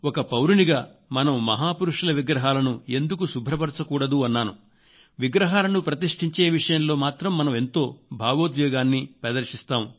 ఒక పౌరునిగా మనం మహా పురుషుల విగ్రహాలను ప్రతిష్ఠించే విషయంలో మాత్రం మనం ఎంతో భావోద్వేగాన్ని ప్రదర్శిస్తాం